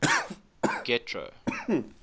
getro